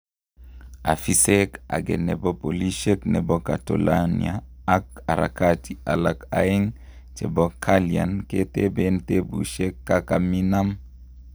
Ofisek age nepo polishek nepo catalonia ak harakati alak aegn chepo kalian ketepen tepushek kakaminam